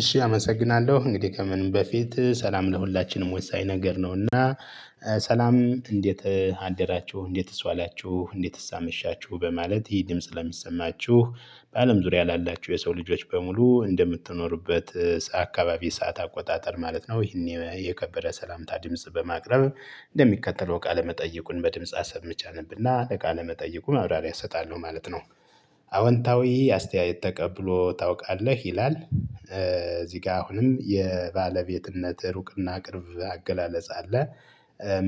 እሺ አመሰግናለሁ እንግዲህ ከምን በፊት ሰላም ለሁላችንም ወሳኝ ነገር ነውና ሰላም እንዴት አደራችሁ እንዴትስ ዋላችሁ እንዴትስ አመሻችሁ በማለት ይህ ድምጽ ለሚሰማችሁ በአለም ዙሪያ ላላችሁ የሰው ልጆች በሙሉ እንደምትኖሩበት አካባቢ ሰዓት አቆጣጠር ማለት ነው ይሄን የከበረ ሰላምታ ድምጽ በማቅረብ እንደሚከተለው ቃለ መጠይቁን በድምጽ አሰምቻለብና ለቃለ መጠይቁ ማብራሪያ እሰጣለሁ ማለት ነው። አወንታዊ አስተያየት ተቀብሎ ታውቃለህ ይላል እዚህ ጋር አሁንም የባለቤትነት ሩቅና ቅርብ አገላለጽ አለ።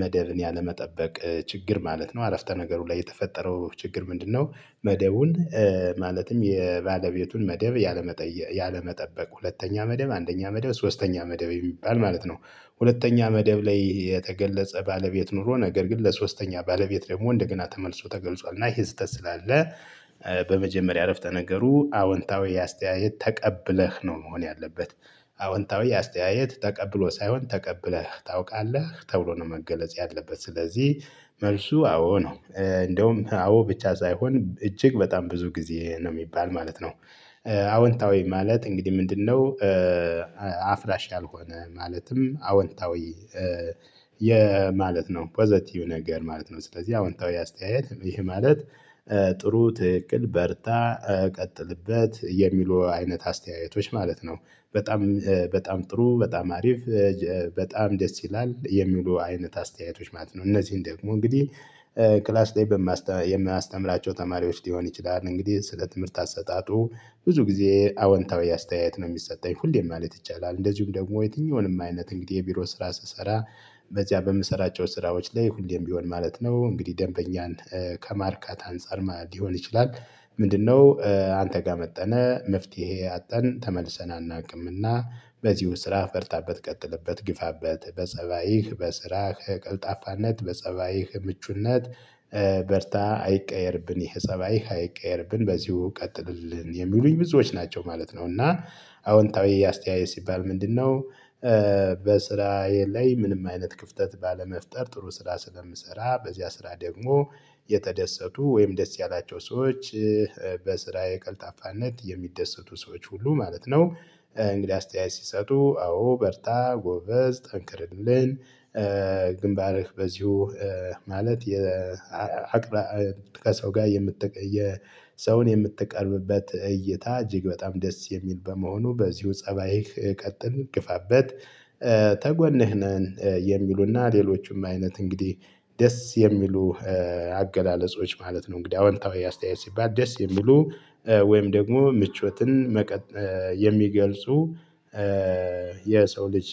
መደብን ያለመጠበቅ ችግር ማለት ነው አረፍተ ነገሩ ላይ የተፈጠረው ችግር ምንድነው? መደቡን ማለትም የባለቤቱን መደብ ያለመጠየቅ ያለመጠበቅ ሁለተኛ መደብ አንደኛ መደብ ሶስተኛ መደብ የሚባል ማለት ነው። ሁለተኛ መደብ ላይ የተገለጸ ባለቤት ኑሮ ነገር ግን ለሶስተኛ ባለቤት ደግሞ እንደገና ተመልሶ ተገልጿል እና ይሄ ስተት ስላለ። በመጀመሪያ አረፍተ ነገሩ አዎንታዊ አስተያየት ተቀብለህ ነው መሆን ያለበት። አዎንታዊ አስተያየት ተቀብሎ ሳይሆን ተቀብለህ ታውቃለህ ተብሎ ነው መገለጽ ያለበት ስለዚህ መልሱ አዎ ነው። እንደውም አዎ ብቻ ሳይሆን እጅግ በጣም ብዙ ጊዜ ነው የሚባል ማለት ነው። አወንታዊ ማለት እንግዲህ ምንድነው? አፍራሽ ያልሆነ ማለትም አወንታዊ የማለት ነው ፖዘቲቭ ነገር ማለት ነው። ስለዚህ አወንታዊ አስተያየት ይሄ ማለት ጥሩ ትክክል በርታ እቀጥልበት የሚለው አይነት አስተያየቶች ማለት ነው። በጣም በጣም ጥሩ በጣም አሪፍ። በጣም ደስ ይላል የሚሉ አይነት አስተያየቶች ማለት ነው። እነዚህን ደግሞ እንግዲህ ክላስ ላይ የማስተምራቸው ተማሪዎች ሊሆን ይችላል እንግዲህ ስለ ትምህርት አሰጣጡ ብዙ ጊዜ አወንታዊ አስተያየት ነው የሚሰጠኝ ሁሌም ማለት ይቻላል። እንደዚሁም ደግሞ የትኛውንም አይነት እንግዲህ የቢሮ ስራ ስሰራ። በዚያ በምሰራጨው ስራዎች ላይ ሁሌም ቢሆን ማለት ነው እንግዲህ ደንበኛን ከማርካት አንፃር ማያ ሊሆን ይችላል። ምንድነው አንተ ጋር መጠነ መፍትሄ አጠን ተመልሰን አናውቅምና። በዚሁ ስራ በርታበት ቀጥልበት ግፋበት በጸባይህ በስራህ ቀልጣፋነት በጸባይህ ምቹነት። በርታ አይቀየርብን ይሄ ፀባይህ አይቀየርብን በዚሁ ቀጥልልን የሚሉኝ ብዙዎች ናቸው ማለት ነው። እና አዎንታዊ አስተያየት ሲባል ምንድነው? በስራዬ ላይ ምንም አይነት ክፍተት ባለመፍጠር ጥሩ ስራ ስለምሰራ በዚያ ስራ ደግሞ የተደሰቱ ወይም ደስ ያላቸው ሰዎች በስራ የቀልጣፋነት የሚደሰቱ ሰዎች ሁሉ ማለት ነው። እንግዲህ አስተያየት ሲሰጡ አዎ በርታ ጎበዝ ጠንክርልን። ግንባርህ በዚሁ ማለት የሰውን የምትቀርብበት እይታ እጅግ በጣም ደስ የሚል በመሆኑ በዚሁ ፀባይህ ቀጥል እግፋበት። ተጎንህ ነን የሚሉና ሌሎችም አይነት እንግዲህ ደስ የሚሉ አገላለጾች ማለት ነው። እንግዲህ አዎንታዊ አስተያየት ሲባል ደስ የሚሉ ወይም ደግሞ ምቾትን የሚገልጹ የሰው ልጅ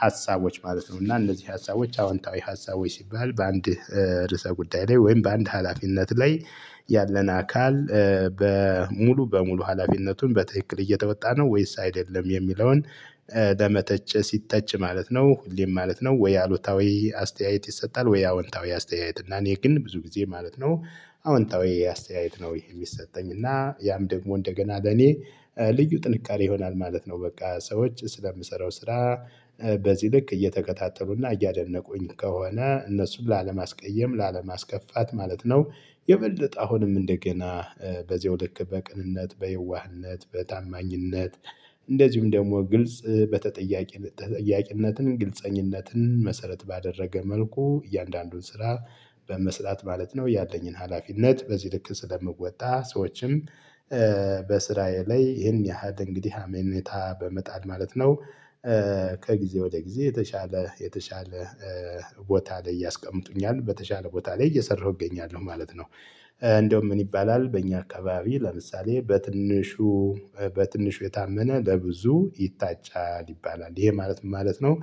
ሀሳቦች ማለት ነው። እና እነዚህ ሀሳቦች አዎንታዊ ሀሳቦች ሲባል በአንድ ርዕሰ ጉዳይ ላይ ወይም በአንድ ሀላፊነት ላይ ያለን አካል በሙሉ በሙሉ ሀላፊነቱን በትክክል እየተወጣ ነው ወይስ አይደለም የሚለውን። ለመተቸ ሲተች ማለት ነው ሁሌም ማለት ነው ወይ አሉታዊ አስተያየት ይሰጣል ወይ አዎንታዊ አስተያየት እና እኔ ግን ብዙ ጊዜ ማለት ነው። አዎንታዊ አስተያየት ነው ይሄ የሚሰጠኝ እና ያም ደግሞ እንደገና ለኔ ልዩ ጥንካሬ ይሆናል ማለት ነው። በቃ ሰዎች ስለምሰራው ስራ በዚህ ልክ እየተከታተሉና እያደነቁኝ ከሆነ እነሱን ላለማስቀየም ላለማስከፋት ማለት ነው። የበለጠ አሁንም እንደገና በዚሁ ልክ በቅንነት በየዋህነት በታማኝነት እንደዚሁም ደግሞ ግልጽ በተጠያቂ ተጠያቂነትን ግልጸኝነትን መሰረት ባደረገ መልኩ እያንዳንዱን ስራ በመስራት ማለት ነው። ያለኝን ሀላፊነት በዚህ ልክ ስለምወጣ ሰዎችም በስራዬ ላይ ይሄን ያህል እንግዲህ አሜኔታ በመጣል ማለት ነው። ከጊዜ ወደ ጊዜ የተሻለ የተሻለ ቦታ ላይ ያስቀምጡኛል በተሻለ ቦታ ላይ እየሰራሁ እገኛለሁ ማለት ነው። እንደውም ምን ይባላል በእኛ አካባቢ ለምሳሌ በትንሹ በትንሹ የታመነ ለብዙ ይታጫል ይባላል ይሄ ማለት ምን ማለት ነው?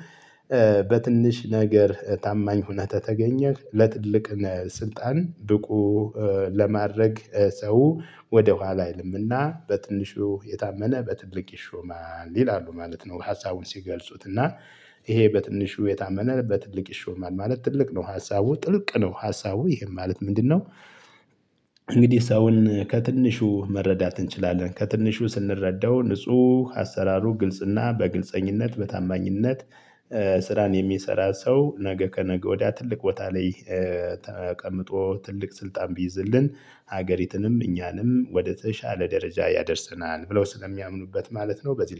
በትንሽ ነገር ታማኝ ሁነህ ተተገኘህ ለትልቅ ስልጣን ብቁ ለማድረግ ሰው ወደኋላ አይልምና በትንሹ የታመነ በትልቅ ይሾማል ይላሉ ማለት ነው። ሀሳቡን ሲገልጹት እና ይሄ በትንሹ የታመነ በትልቅ ይሾማል ማለት ትልቅ ነው ሀሳቡ ጥልቅ ነው ሀሳቡ ይሄን ማለት ምንድነው? እንግዲህ ሰውን ከትንሹ መረዳት እንችላለን ከትንሹ ስንረዳው ንጹህ አሰራሩ ግልጽና በግልፀኝነት በታማኝነት። ስራን የሚሰራ ሰው ነገ ከነገ ወዲያ ትልቅ ቦታ ላይ ተቀምጦ ትልቅ ስልጣን ቢይዝልን ሀገሪትንም እኛንም ወደ ተሻለ ደረጃ ያደርሰናል ብለው ስለሚያምኑበት ማለት ነው። በዚህ